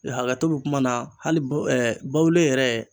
Hakɛto bɛ kuma na hali bawoli yɛrɛ.